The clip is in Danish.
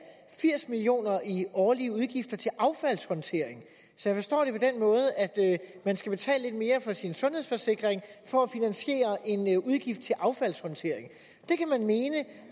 firs million kroner i årlige udgifter til affaldshåndtering så jeg forstår det på den måde at man skal betale lidt mere for sin sundhedsforsikring for at finansiere en udgift til affaldshåndtering det kan man mene